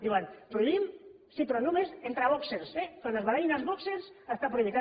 diuen prohibim sí però només entre bòxers eh quan es barallin els bòxers està prohibit